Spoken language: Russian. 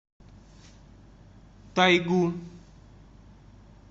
тайгу